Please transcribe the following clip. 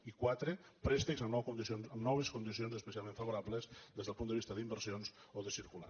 i quatre préstecs amb noves condicions especialment favorables des del punt de vista d’inversions o de circulant